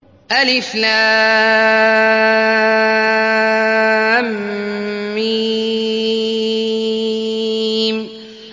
الم